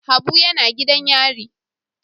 Habu yana gidan yari.